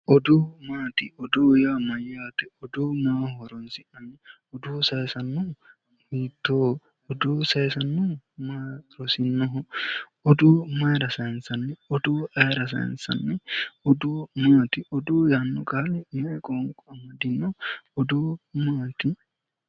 Budu maati, budu yaa mayate, budunna horosi maati ,budu sayisano horosinna ,bude mayira sayinsanni ,bude ayiira sayinsanni ,budu maati, budu yaanno qaali mayi qoonqo amadino ?